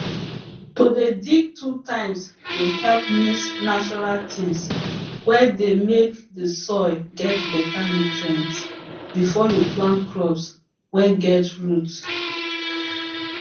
to dey dig two times dey help mix natural things whey dey make the soil get better nutrients before you plant crops whey get roots